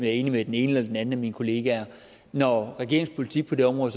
er enig med den ene eller den anden af mine kollegaer når regeringens politik på det område